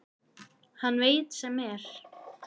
Hann veit sem er.